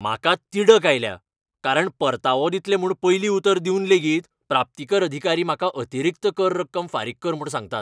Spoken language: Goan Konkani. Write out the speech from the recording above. म्हाका तिडक आयल्या कारण परतावो दितले म्हूण पयलीं उतर दिवन लेगीत प्राप्तीकर अधिकारी म्हाका अतिरिक्त कर रक्कम फारीक कर म्हूण सांगतात.